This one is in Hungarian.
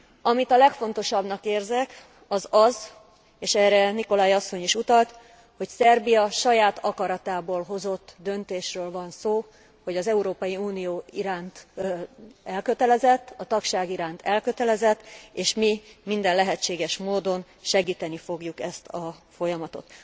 Amit a legfontosabbnak érzek, az az és erre Nicolai asszony is utalt hogy Szerbia saját akaratából hozott döntésről van szó, hogy az Európai Unió iránt elkötelezett, a tagság iránt elkötelezett, és mi minden lehetséges módon segíteni fogjuk ezt a folyamatot.